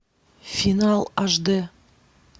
финал аш дэ